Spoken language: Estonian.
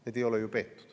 Need ei ole ju peetud.